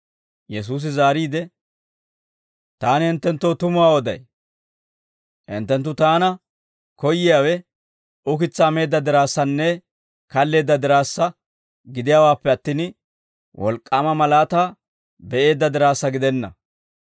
Yesuusi zaariide, «Taani hinttenttoo tumuwaa oday; hinttenttu taana koyyiyaawe ukitsaa meedda diraassanne kalleedda diraassa gidiyaawaappe attin, wolk'k'aama malaataa be'eedda diraassa gidenna.